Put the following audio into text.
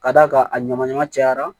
Ka d'a kan a ɲama ɲama cayara